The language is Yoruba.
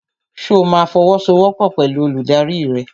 Ṣo ma fọwọ́sowọ́pọ̀ pẹ̀lú olùdarí rẹ?